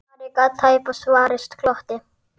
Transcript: Ari gat tæpast varist glotti.